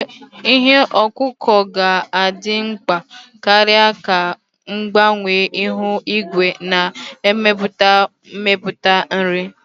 Ihe ọkụkụ ga-adị mkpa karịa ka mgbanwe ihu igwe na-emetụta mmepụta nri.